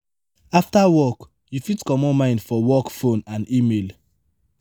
after work you fit comot mind for work phone and email